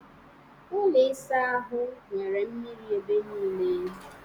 Ụlọ ịsa ahụ nwere mmiri ebe niile